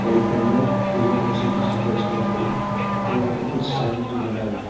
और ऊपर में येलो कलर से भी कुछ लिखा है उसके ऊपर में और यहां पे कुछ साइन भी बना हुआ है।